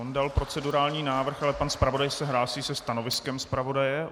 On dal procedurální návrh, ale pan zpravodaj se hlásí se stanoviskem zpravodaje.